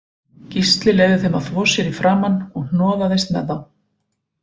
Gísli leyfði þeim að þvo sér í framan og hnoðaðist með þá